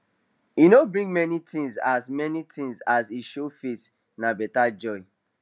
e no bring many thingsas many thingsas him show face na better joy